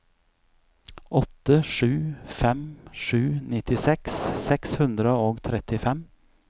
åtte sju fem sju nittiseks seks hundre og trettifem